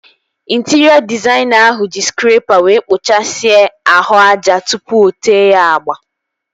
Intịrịọ dịzaịna ahụ ji skrepa wee kpuchasia ahụ aja tụpụ o tee ya agba